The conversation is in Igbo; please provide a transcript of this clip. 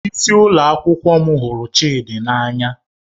Onyeisi ụlọ akwụkwọ m hụrụ Chidi n'anya